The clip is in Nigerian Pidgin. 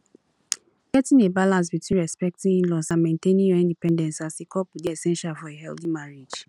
getting a balance between respecting inlaws and maintaining your independence as a couple dey essential for a healthy marriage